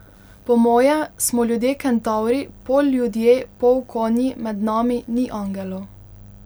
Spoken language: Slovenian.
Po moje smo ljudje Kentavri, pol ljudje pol konji, med nami ni angelov.